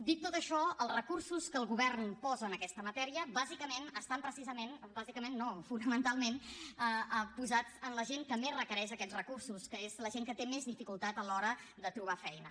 dit tot això els recursos que el govern posa en aquesta matèria bàsicament estan precisament bàsicament no fonamentalment posats en la gent que més requereix aquests recursos que és la gent que té més dificultat a l’hora de trobar feina